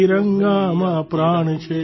તિરંગામાં પ્રાણ છે